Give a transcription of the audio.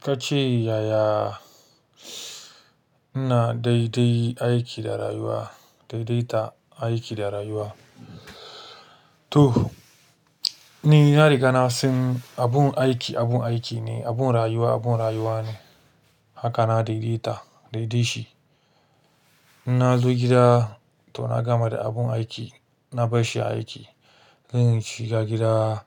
Ka ce, "Yaya ina daidaita aiki da rayuwa?" To, ni na riga na san abun aiki abun aiki ne, abun rayuwa abun rayuwa ne. Haka na daidaita shi. In na zo gida to na gama da abun aiki, na bar shi a aiki. Zan shiga gida,